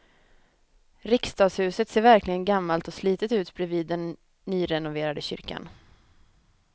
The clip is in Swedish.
Riksdagshuset ser verkligen gammalt och slitet ut bredvid den nyrenoverade kyrkan.